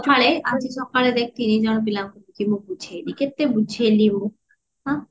ଆଜି ସଖାଳେ ଆଜି ସଖାଳେ ଦେଖିଥିନୀ ଜଣେ ପିଲାଙ୍କୁ କି ମୁଁ ବୁଝେଇବି କେତେ ବୁଝେଇଲି ମୁଁ ଆଁ